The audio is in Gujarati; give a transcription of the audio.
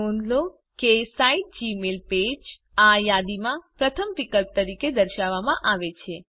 નોંધ લો કે સાઇટmygmailpage આ યાદીમાં પ્રથમ વિકલ્પ તરીકે દર્શાવવામાં આવેલ છે